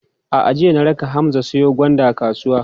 A'a, jiya na raka Hamza ya siyo gwanda kasuwa.